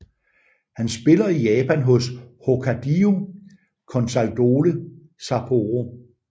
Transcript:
Han spiller i Japan hos Hokkaido Consadole Sapporo